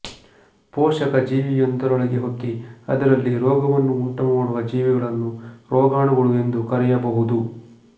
ಪೋಷಕ ಜೀವಿಯೊಂದರೊಳಗೆ ಹೊಕ್ಕಿ ಅದರಲ್ಲಿ ರೋಗವನ್ನು ಉಂಟುಮಾಡುವ ಜೀವಿಗಳನ್ನು ರೋಗಾಣುಗಳು ಎಂದು ಕರೆಯಬಹುದು